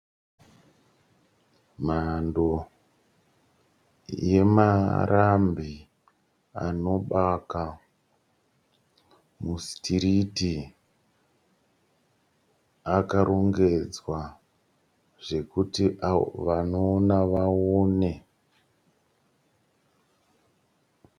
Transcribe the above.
Mhando yemarambi anobaka mu sitiriti akarongedzwa zvekuti vanoona vaone.